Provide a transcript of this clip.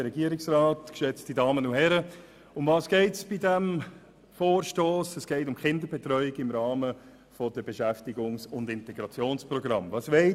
Es geht in diesem Vorstoss um die Kinderbetreuung im Rahmen von Beschäftigungs- und Integrationsprogrammen.